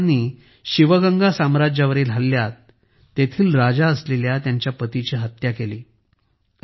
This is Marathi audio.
इंग्रजांनी शिवगंगा साम्राज्यावरील हल्ल्यात तेथील राजा असलेल्या त्यांच्या पतीची हत्या केली